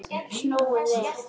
Snúið við.